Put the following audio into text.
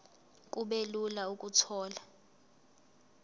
kube lula ukuthola